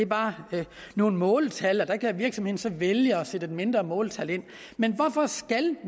bare er nogle måltal og at virksomheden så kan vælge at sætte et mindre måltal ind men hvorfor skal